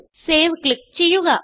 save click ചെയ്യുക